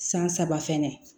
San saba fɛnɛ